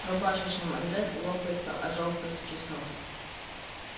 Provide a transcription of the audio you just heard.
рубашечный манжет лопается от жёлтых часов